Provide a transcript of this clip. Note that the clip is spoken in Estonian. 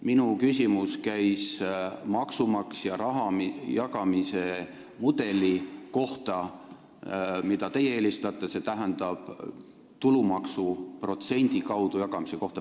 Minu küsimus käis maksumaksja raha jagamise mudeli kohta, mida teie eelistate, st tulumaksu protsendi kaudu jagamise kohta.